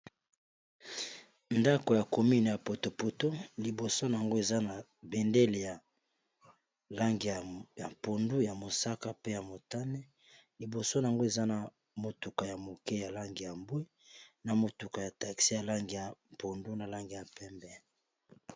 ndako ya comine ya poto poto liboso yango eza na bendele ya langi ya mpondu ya mosaka pe ya motane liboso yango eza na motuka ya moke ya langi ya mbwe na motuka ya taxi ya langi ya mpondu na langi ya pembe